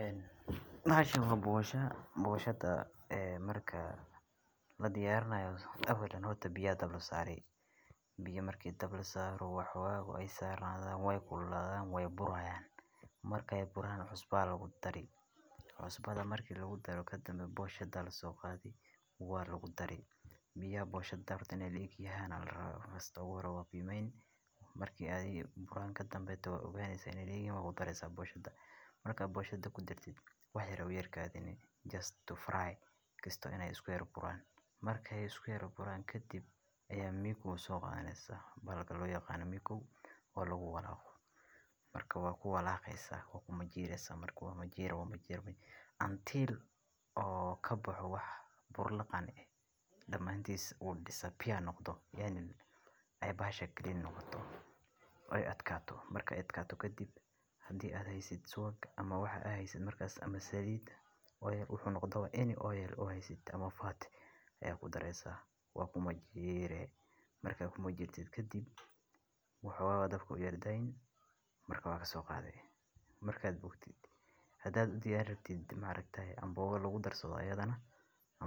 Een bahashan waa boshaa ,marka hore boshada ladiyarinayo . Marka, la diyaarinayso awalan. Horto biya dablo saaray, biyo markii dab loo saaray waxaa aagoo ay saaranadaan way kuulaadaan way burayaan. Marka ay buraan cusubba lagu darin kusbaada markii lagu daaro ka danbeeyay boshada la soo qaaday. Waan lagu daray biyo boshada tobankiisa haanaal raaw rasta ugu yara waab. Yimayn markii adii buraan ka danbay dhowr ugaaday sayn gi ma ku dareysaa bulshada. Markaa bulshadu ku darteed wax yar u yar ka hadh inay just to fry kiisto inay isku yeelan buraan. Markay isku yeelan ka dib ayaa miku soo qaanaysa balka loo yaqaano miku oo lagu walaaco. Marka waa ku walaaceysa waa ku mujiireysa marka waa mujiir waa mujiir bay. Intiil oo ka buuxa wax bur laqaan ah. Dhammaantiisa waa dhisab fiican noqdo yaani inay basha keliya noqoto. O ay adkaato marka adkaatu ka dib. Haddii aad haysid suuqa ama waxa aheyso markaas ama sariida ooyee u xunuqdo inay ooyeel oo haysid ama faati ayaa ku dareessa. Waa ku mujiirey markaan ku mujiirta kadib, waxaa waa dab ku yeerdayn marka waa ka soo qaadaya markaad buugtid. Hadaad u diyaaristid maalintan ay boooga lagu darso odhahadana